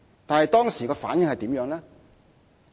但是，當時得到的反應如何？